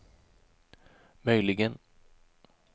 möjligen